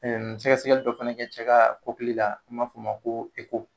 Ɛɛ sɛkɛsɛkɛli dɔ fɛnɛ kɛ cɛ ka n'an ba f'o ma ko